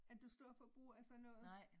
Er du stor forbruger af sådan noget?